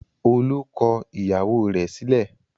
Olú kọ ìyàwó rẹ̀ sílẹ̀?